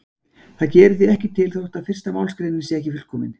Það gerir því ekkert til þó að fyrsta málsgreinin sé ekki fullkomin.